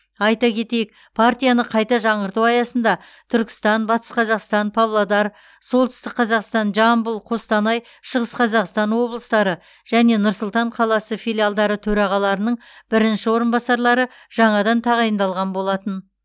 айта кетейік партияны қайта жаңғырту аясында түркістан батыс қазақстан павлодар солтүстік қазақстан жамбыл қостанай шығыс қазақстан облыстары және нұр сұлтан қаласы филиалдары төрағаларының бірінші орынбасарлары жаңадан тағайындалған болатын